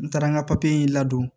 N taara n ka papiye in ladon